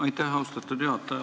Aitäh, austatud juhataja!